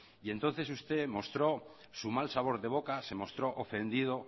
y entonces usted mostró su mal sabor de boca se mostró ofendido